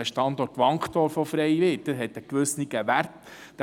Der Standort Wankdorf, der frei wird, weist einen gewissen Wert auf;